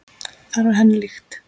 Það var henni líkt.